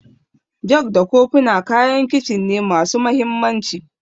Jug da kofina kayan Kicin ne masu mahimmanci.